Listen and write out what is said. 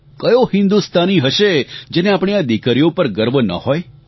કયો હિન્દુસ્તાની હશે જેને આપણી આ દિકરીઓ પર ગર્વ ના હોય